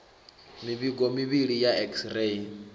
mivhigo mivhili ya x ray